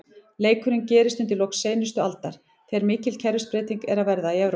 Leikurinn gerist undir lok seinustu aldar, þegar mikil kerfisbreyting er að verða í Evrópu.